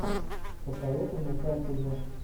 посоветуй мне фэнтези